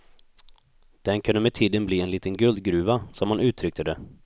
Den kunde med tiden bli en liten guldgruva, som han uttryckte det.